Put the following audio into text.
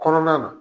Kɔnɔna na